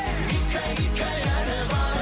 гиккәй гиккәй әні бар